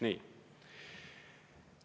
Nii.